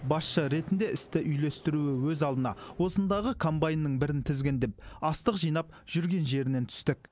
басшы ретінде істі үйлестіруі өз алдына осындағы комбайнның бірін тізгіндеп астық жинап жүрген жерінен түстік